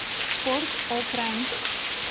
порт о пренс